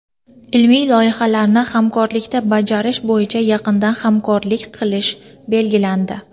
ilmiy loyihalarni hamkorlikda bajarish bo‘yicha yaqindan hamkorlik qilish belgilandi.